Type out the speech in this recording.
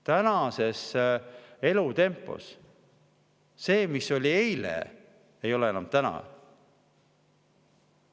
Tänase elutempo juures see, mis oli eile, ei ole enam täna.